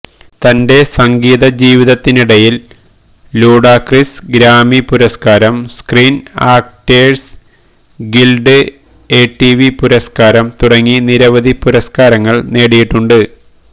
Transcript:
തന്റെ സംഗീത ജീവിതത്തിനിടയിൽ ലൂഡാക്രിസ് ഗ്രാമി പുരസ്കാരം സ്ക്രീൻ ആക്ടേഴ്സ് ഗിൽഡ് എംടിവി പുരസ്കാരം തുടങ്ങി നിരവധി പുരസ്കാരങ്ങൾ നേടിയിട്ടുണ്ട്